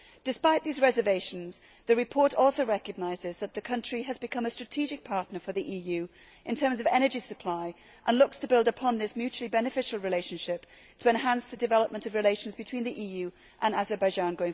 Despite these reservations, the report also recognises that the country has become a strategic partner for the EU in terms of energy supply and looks to build upon this mutually beneficial relationship to enhance the development of relations between the EU and Azerbaijan.